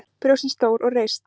Brjóstin stór og reist.